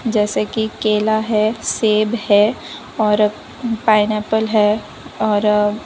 जैसे कि केला है सेब है और पाइनएप्पल है और --